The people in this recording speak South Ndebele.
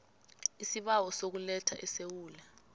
isibawo sokuletha esewula